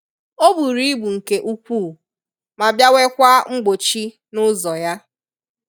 O buru ibu nke ukwuu ma bịa nwekwaa mgbochi n'ụzọ ya